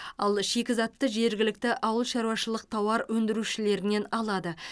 ал шикізатты жергілікті ауылшаруашылық тауар өндірушілерінен алады